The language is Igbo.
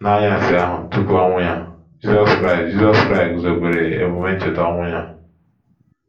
N’anyasị ahụ tupu ọnwụ ya, Jizọs Kraịst, Jizọs Kraịst guzobere emume Ncheta ọnwụ ya.